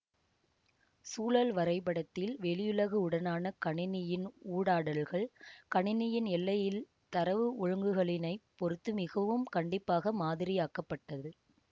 சூழல் வரைபடத்தில் வெளியுலகு உடனான கணினியின் ஊடாடல்கள் கணினியின் எல்லையில் தரவு ஒழுக்குகளினைப் பொறுத்து மிகவும் கண்டிப்பாக மாதிரியாக்கப்பட்டது